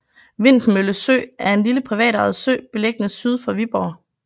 Vintmølle Sø er en lille privatejet sø beliggende syd for Viborg